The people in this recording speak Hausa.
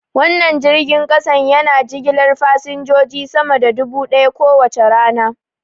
Wannan jirgin kasa yana jigilar fasinjoji sama da dubu daya kowace rana.